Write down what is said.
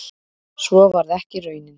Svo varð ekki raunin